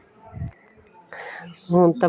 ਹੁਣ ਤੇ ਬੱਸ